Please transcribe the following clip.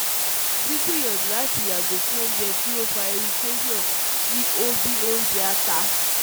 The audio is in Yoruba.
Gbiyanju lati yago fun ounje ti o fa irriation si o bi onjẹ ata